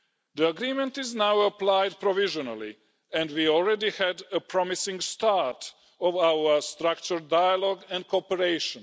The agreement is now being applied provisionally and we already had a promising start to our structured dialogue and cooperation.